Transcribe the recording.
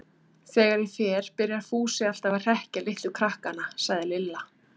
Þegar ég fer byrjar Fúsi alltaf að hrekkja litlu krakkana, sagði Lilla.